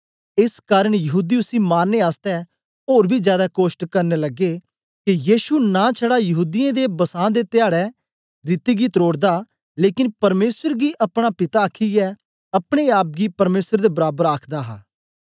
एस कारन यहूदी उसी मारनें आसतै ओर बी जादै कोशट करन लगे के यीशु नां छडा यहूदीयें दे बसां दे धयाड़ै रीति गी त्रोड़दा लेकन परमेसर गी अपना पिता आखीयै अपने आप गी परमेसर दे बराबर आखदा हा